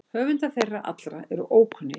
Höfundar þeirra allra eru ókunnir.